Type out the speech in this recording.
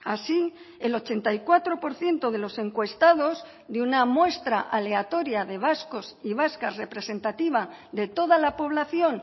así el ochenta y cuatro por ciento de los encuestados de una muestra aleatoria de vascos y vascas representativa de toda la población